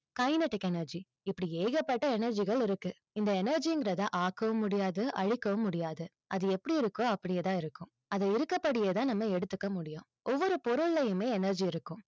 kinetic energy இப்படி ஏகப்பட்ட energy கள் இருக்கு இந்த energy ங்கறத ஆக்கவும் முடியாது, அழிக்கவும் முடியாது. அது எப்படி இருக்கோ, அப்படியே தான் இருக்கும். அது இருக்கபடியே தான் நம்ம எடுத்துக்க முடியும். ஒவ்வொரு பொருளையுமே energy இருக்கும்.